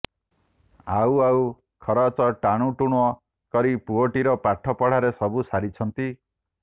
ଆଉ ଆଉ ଖରଚ ଟାଣୁଟୁଣ କରି ପୁଅଟିର ପାଠ ପଢ଼ାରେ ସବୁ ସାରିଛନ୍ତି